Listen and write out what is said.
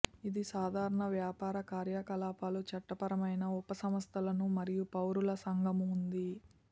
ఇది సాధారణ వ్యాపార కార్యకలాపాలు చట్టపరమైన ఉప సంస్థలను మరియు పౌరుల సంఘము ఉంది